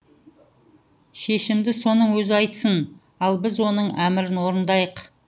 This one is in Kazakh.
шешімді соның өзі айтсын ал біз оның әмірін орындайық